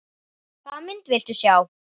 Hvaða mynd viltu sjá?